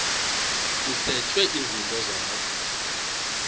kusetshwe izinto zakho